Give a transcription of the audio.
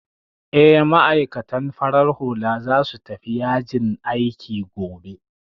Eh, ma'aikatan farar hula za su tafi yajin aiki gobe